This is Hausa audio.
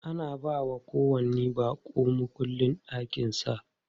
Ana bawa kowanni baƙo mukullin ɗakin sa.